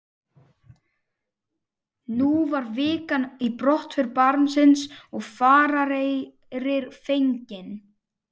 Nú var vika í brottför barónsins og farareyrir fenginn.